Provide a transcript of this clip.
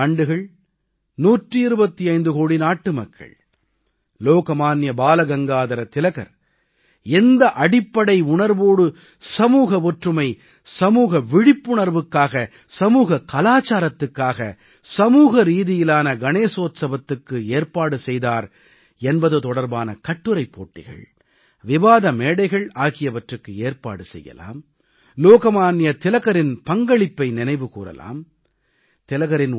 125 ஆண்டுகள் 125 கோடி நாட்டு மக்கள் லோக்மான்ய திலகர் எந்த அடிப்படை உணர்வோடு சமூக ஒற்றுமை சமூக விழிப்புணர்வுக்காக சமூக கலாச்சாரத்துக்காக சமூக ரீதியிலான கணேஸோத்ஸவத்துக்கு ஏற்பாடு செய்தார் என்பது தொடர்பான கட்டுரைப் போட்டிகள் விவாத மேடைகள் ஆகியவற்றுக்கு ஏற்பாடு செய்யலாம் லோகமான்ய திலகரின் பங்களிப்பை நினைவு கூரலாம்